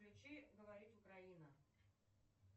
включи говорит украина